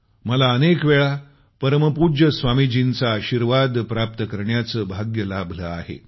मला अनेक वेळा परमपूज्य स्वामीजींचा आशीर्वाद प्राप्त करण्याचं भाग्य लाभलं आहे